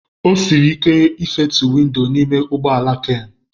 O siri ike ịfetu windo n'ime ụgbọ ala Ken.